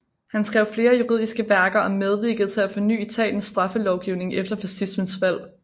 Han skrev flere juridiske værker og medvirkede til at forny Italiens straffelovgivning efter fascismens fald